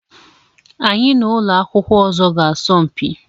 Anyị na ụlọ akwụkwọ ọzọ ga-asọ mpi.